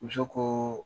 Muso ko